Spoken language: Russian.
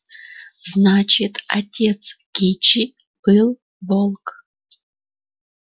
значит отец кичи был волк